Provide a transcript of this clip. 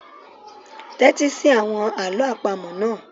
Tẹ́tí sí àwọn àlọ́ àpamọ̀ náà.